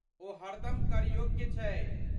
ओ हरदम करयोग्य छै।